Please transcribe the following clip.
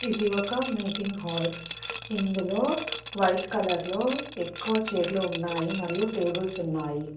ఇది ఒక meeting hall ఇందులో వైట్ కలర్ లో ఎక్కువ చైర్లు ఉన్నాయి మరియు టేబుల్స్ ఉన్నాయి.